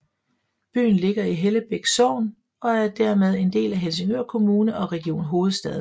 Byen ligger i Hellebæk Sogn og er dermed en del af Helsingør Kommune og Region Hovedstaden